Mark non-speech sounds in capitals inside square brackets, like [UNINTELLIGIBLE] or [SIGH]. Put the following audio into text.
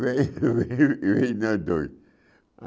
Veio [LAUGHS] [UNINTELLIGIBLE] nós dois.